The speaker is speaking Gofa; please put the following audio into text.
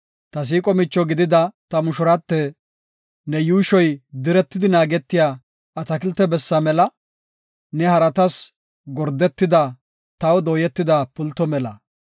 Ta siiqo micho gidida ta mushurate, ne yuushoy diretidi naagetiya atakilte bessa mela; ne haratas gordetida, taw dooyetida pulto mela.